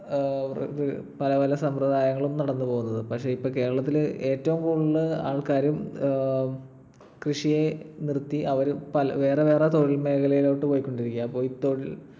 പല പല സമ്പ്രദായങ്ങളും നടന്നു പോകുന്നത്. പക്ഷെ ഇപ്പൊ കേരളത്തിൽ ഏറ്റവും കൂടുതൽ ആൾക്കാർ ഏർ കൃഷിയെ നിർത്തി അവര് പല വേറെ വേറെ തൊഴിൽ മേഖലയിലോട്ട് പോയ്കൊണ്ടിരിക്കയാണ്.